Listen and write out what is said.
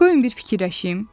Qoyun bir fikirləşim.